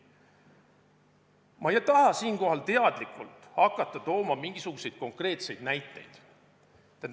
Ma ei taha siinkohal teadlikult hakata tooma mingisuguseid konkreetseid näiteid.